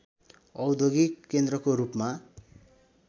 औद्योगिक केन्द्रको रूपमा